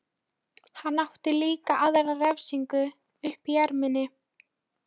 Hann átti líka aðra refsingu uppi í erminni.